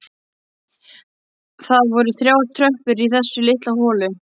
Það voru þrjár tröppur upp í þessa litlu holu.